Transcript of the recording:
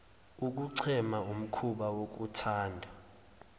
ukuchema umhkuba wokuthanda